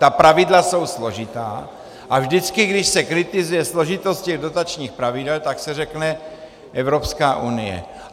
Ta pravidla jsou složitá a vždycky, když se kritizuje složitost těch dotačních pravidel, tak se řekne - Evropská unie.